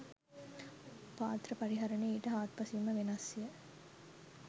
පාත්‍ර පරිහරණය ඊට හාත්පසින්ම වෙනස්ය.